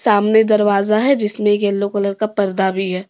सामने दरवाज़ा है जिसमे एक यलो कलर का पर्दा भी है।